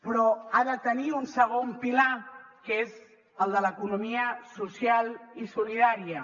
però ha de tenir un segon pilar que és el de l’economia social i solidària